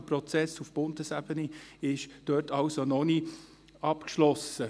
Der Prozess auf Bundesebene ist diesbezüglich also noch nicht abgeschlossen.